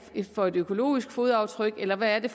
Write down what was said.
er for et økologisk fodaftryk eller hvad det